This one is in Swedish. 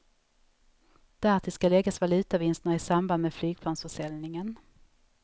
Därtill ska läggas valutavinsterna i samband med flygplansförsäljningen.